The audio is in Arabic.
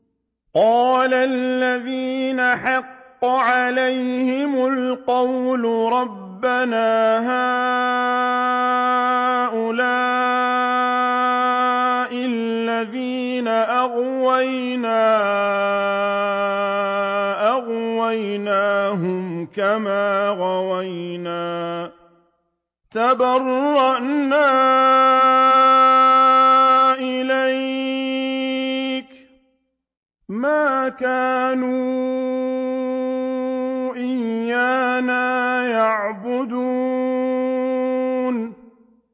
قَالَ الَّذِينَ حَقَّ عَلَيْهِمُ الْقَوْلُ رَبَّنَا هَٰؤُلَاءِ الَّذِينَ أَغْوَيْنَا أَغْوَيْنَاهُمْ كَمَا غَوَيْنَا ۖ تَبَرَّأْنَا إِلَيْكَ ۖ مَا كَانُوا إِيَّانَا يَعْبُدُونَ